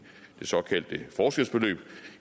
såkaldte forskelsbeløb